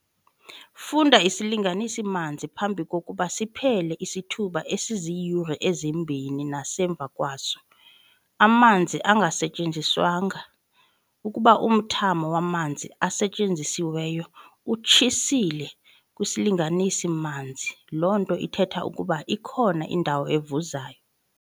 Funda isilanganisi-manzi phambi kokuba siphele isithuba esiziyure ezimbini nasemva kwaso, amanzi engasetyenziswanga. Ukuba umthamo wamanzi asetyenzisiweyo utshitshile kwisilinganisi-manzi, loo nto ithetha ukuba ikhona indawo evuzayo.